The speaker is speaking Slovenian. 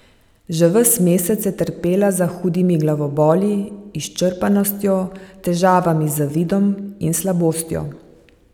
Že ves mesec je trpela za hudimi glavoboli, izčrpanostjo, težavami z vidom in slabostjo.